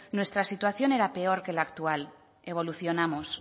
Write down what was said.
nuestra situación era peor que la actual evolucionamos